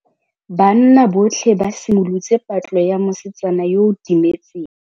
Banna botlhê ba simolotse patlô ya mosetsana yo o timetseng.